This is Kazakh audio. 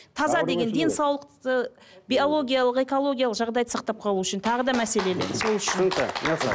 таза деген денсаулықты биологиялық экологиялық жағдайды сақтап қалу үшін тағы да мәселелер сол үшін түсінікті